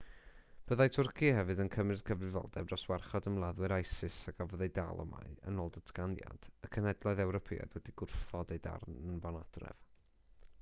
byddai twrci hefyd yn cymryd cyfrifoldeb dros warchod ymladdwyr isis a gafodd eu dal y mae yn ôl y datganiad y cenhedloedd ewropeaidd wedi gwrthod eu hanfon adref